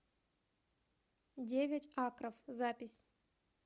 девять акров запись